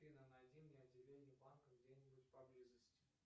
афина найди мне отделение банка где нибудь поблизости